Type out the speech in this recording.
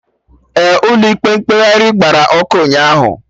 Ee, Ụlọ ikpe mkpegharị gbara ọkụ ụnyaahụ